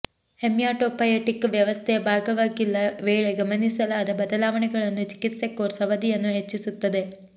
haematopoietic ವ್ಯವಸ್ಥೆಯ ಭಾಗವಾಗಿಲ್ಲ ವೇಳೆ ಗಮನಿಸಲಾದ ಬದಲಾವಣೆಗಳನ್ನು ಚಿಕಿತ್ಸೆ ಕೋರ್ಸ್ ಅವಧಿಯನ್ನು ಹೆಚ್ಚಿಸುತ್ತದೆ